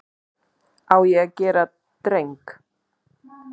Á ég að gera dreng?